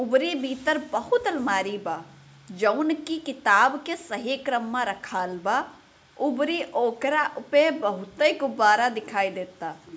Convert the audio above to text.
उभरी भीतर बहुत अलमारी बा जोन की किताब के सही क्रम मा रखाल बा उभरी ओकरा उपे बोहुते गुब्बारा दिखाई देता।